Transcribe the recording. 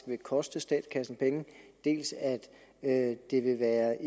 vil koste statskassen penge dels at at det vil være